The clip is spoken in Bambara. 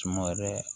Suma wɛrɛ